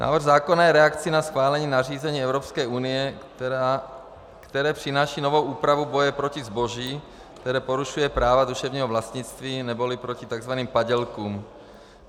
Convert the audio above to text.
Návrh zákona je reakcí na schválení nařízení Evropské unie, které přináší novou úpravu boje proti zboží, které porušuje práva duševnímu vlastnictví, neboli proti tzv. padělkům.